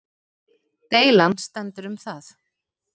Deilan stendur um það